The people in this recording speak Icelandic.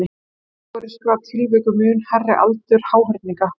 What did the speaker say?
þó eru skráð tilvik um mun hærri aldur háhyrninga